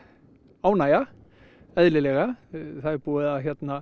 ánægja eðlilega það er búið að